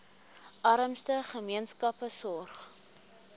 armste gemeenskappe sorg